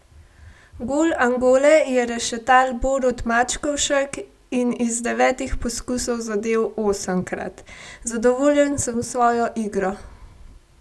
Gol Angole je rešetal Borut Mačkovšek in iz devetih poskusov zadel osemkrat: "Zadovoljen sem s svojo igro.